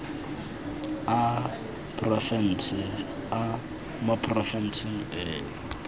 a porofense mo porofenseng eno